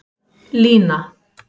Lína